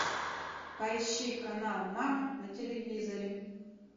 поищи канал мама на телевизоре